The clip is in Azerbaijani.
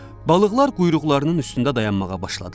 Balıqlar quyruqlarının üstündə dayanmağa başladılar.